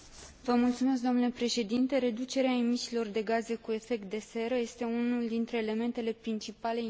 Reducerea emisiilor de gaze cu efect de seră este unul dintre elementele principale inițiate la nivel european.